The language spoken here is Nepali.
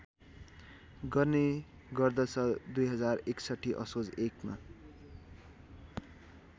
गर्ने गर्दछ२०६१ असोज १ मा